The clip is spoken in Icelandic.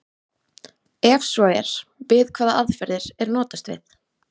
Ef svo er, við hvaða aðferðir er notast við?